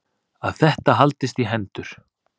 Að þetta haldist í hendur.